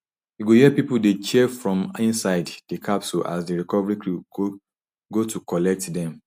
you go hear pipo dey cheer from inside di capsule as di recovery crew go to collect dem